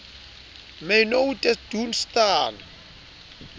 my nou te doen staan